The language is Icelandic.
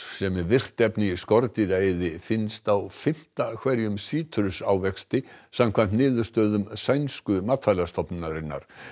sem er virkt efni í finnst á fimmta hverjum sítrusávexti samkvæmt niðurstöðum sænsku matvælastofnunarinnar